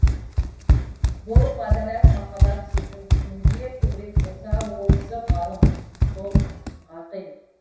бұл ғадаләт махаббат сезім кімде көбірек болса ол кісі ғалым сол ғақил